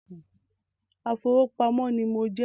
Afowópamọ́ ní mo jẹ́